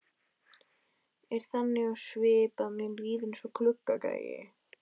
Er þannig á svip að mér líður eins og gluggagægi.